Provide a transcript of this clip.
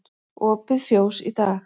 Opið fjós í dag